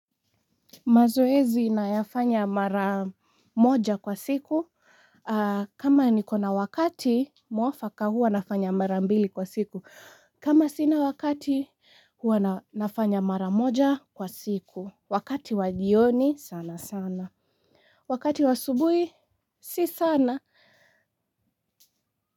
Mazoezi nayafanya mara moja kwa siku. Kama nikona wakati mwafaka huwa nafanya mara mbili kwa siku. Kama sina wakati hua nafanya mara moja kwa siku. Wakati wa jioni sana sana. Wakati wa asubuhi si sana.